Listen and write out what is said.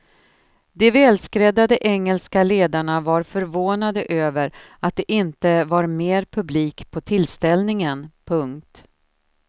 De välskräddade engelska ledarna var förvånade över att det inte var mer publik på tillställningen. punkt